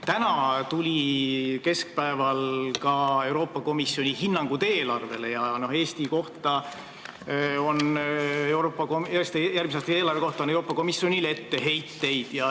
Täna keskpäeval tuli ka Euroopa Komisjoni hinnang meie eelarvele ja Eesti järgmise aasta eelarve kohta on Euroopa Komisjonil etteheiteid.